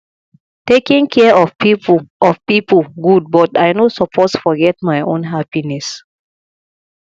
taking care of people of people good but i no suppose forget my own happiness